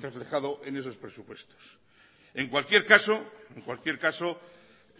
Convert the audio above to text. reflejado en esos presupuestos en cualquier caso